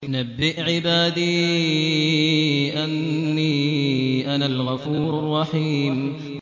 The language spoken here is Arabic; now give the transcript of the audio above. ۞ نَبِّئْ عِبَادِي أَنِّي أَنَا الْغَفُورُ الرَّحِيمُ